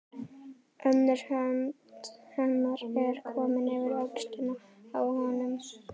Önnur hönd hennar er komin yfir öxlina á honum.